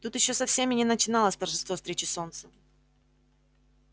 тут ещё совсем и не начиналось торжество встречи солнца